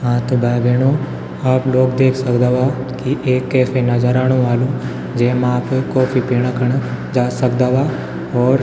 हाँ त भाई-भेणाे आप लोग देख सक्दावा की एक कैफ़े नजर आणु वालू. जेमा आप कॉफ़ी पीणा खुण जा सक्दावा और --